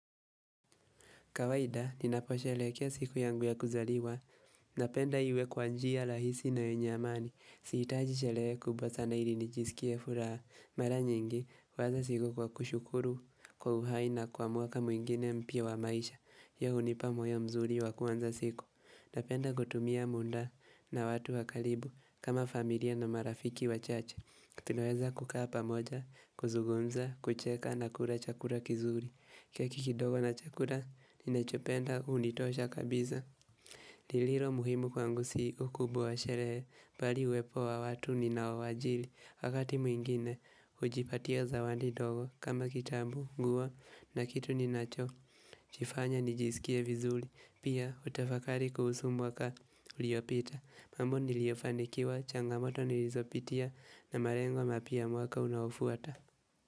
Kawaida, ninaposherehekea siku yangu ya kuzaliwa, napenda iwe kwa njia rahisi na yenye amani, sihitaji sherehe kubwa sana ili nijisikie furaha. Mara nyingi, huwanza siku kwa kushukuru kwa uhai na kwa mwaka mwingine mpya wa maisha, hiyo hunipa moyo mzuri wa kuanza siku. Napenda kutumia muda na watu wa karibu kama familia na marafiki wachache. Tunaweza kukaa pamoja, kuzungumza, kucheka na kula chakula kizuri keki kidogo na chakula, ninachopenda hunitosha kabisa lililo muhimu kwangu si ukubwa wa sherehe, bali uwepo wa watu ninaowajili Wakati mwingine, hujipatia zawadi ndogo, kama kitabu, nguo, na kitu ninacho Jifanya nijisikie vizuri, pia hutafakari kuhusu mwaka uliopita mambo niliyofanikiwa, changamoto nilizopitia, na malengo mapya ya mwaka unaofuata.